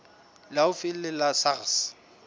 le haufi le la sars